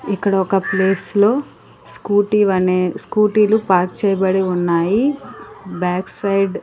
ఇక్కడ ఒక ప్లేస్ లో స్కూటీ అనే స్కూటీ లు పార్క్ చేయబడి ఉన్నాయి బ్యాక్ సైడ్ .